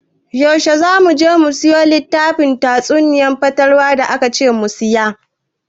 Yaushe za mu je mu siyo littafin tatsuniyar fatalwa da akace mu siya?